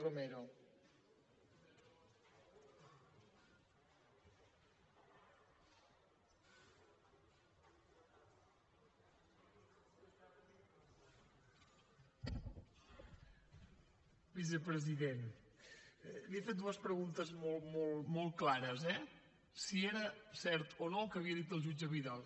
vicepresident li he fet dues preguntes molt molt molt clares eh si era cert o no el que havia dit el jutge vidal